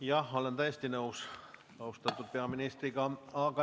Jah, ma olen austatud peaministriga täiesti nõus.